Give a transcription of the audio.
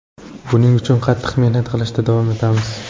Buning uchun qattiq mehnat qilishda davom etamiz.